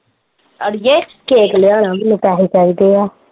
ਅੜੀਏ ਕੇਕ ਲਿਆਣਾ ਮੈਨੂੰ ਪੇਸੇ ਚਾਹੀਦੇ ਆ।